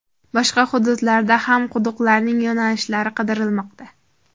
Boshqa hududlardan ham quduqlarning yo‘nalishlari qidirilmoqda.